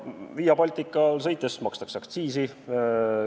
Via Baltical sõites makstakse aktsiisi.